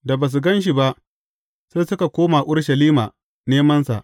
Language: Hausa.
Da ba su gan shi ba, sai suka koma Urushalima nemansa.